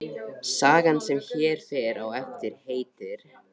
Sagan sem hér fer á eftir heitir